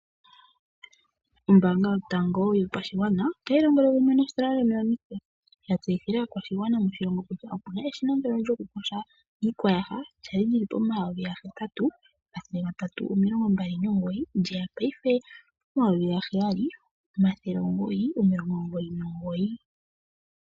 Ombaanga yo tango yopashigwa otayilongele kumwe ehangano nictus, okutseyithila aakwashigwana kutya opena eshina lwokukosha iiyaha lyeya kombiliha